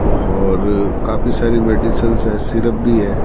और काफी सारी मेडिसिंस है सिरप भी है।